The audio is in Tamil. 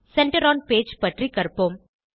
சென்டர் ஒன் பேஜ் பற்றி கற்போம்